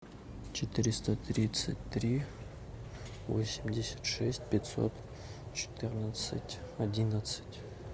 четыреста тридцать три восемьдесят шесть пятьсот четырнадцать одиннадцать